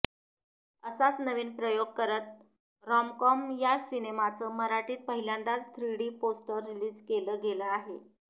असाच नवीन प्रयोग करत रॉमकॉम या सिनेमाचं मराठीत पहिल्यांदाच थ्रीडी पोस्टर रिलीज केलं गेलं आहे